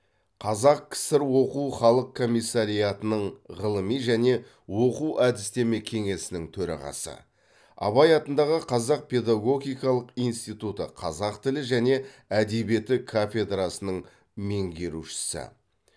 қазақ кср оқу халық комиссариатының ғылыми және оқу әдістеме кеңесінің төрағасы абай атындағы қазақ педагогикалық институты қазақ тілі және әдебиеті кафедрасының меңгерушісі